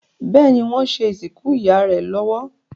Béèni wón ṣe ìsìnkú ìyá rẹ lówó.